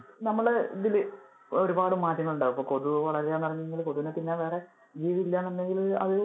നമ്മള് ഇതില് ഒരുപാട് മാറ്റങ്ങൾ ഉണ്ടാകും. ഇപ്പൊ കൊതുക് വളരുന്നു എന്ന് പറഞ്ഞിട്ടുണ്ടെങ്കിൽ. കൊതുകിനെ തിന്നാൻ വേറെ ജീവി ഇല്ല എന്ന് ഉണ്ടെങ്കിൽ അത്